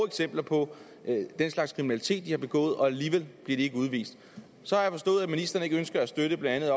eksempler på den slags kriminalitet de har begået og alligevel bliver de ikke udvist så har jeg forstået at ministeren ikke ønsker at støtte blandt